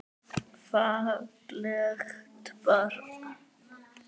Fallegt barn.